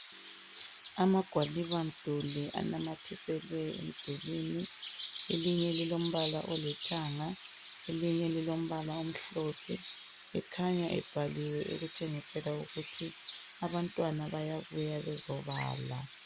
Amagwaliba mduli anamathiselwe emdulwini elinye lilombala olithanga elinye lilombala omhlophe akhanya ebhaliwe okutshengisela ukuthi abantwana bayabuya bezobala.